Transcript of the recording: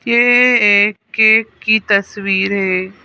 ये एक केक की तस्वीर है।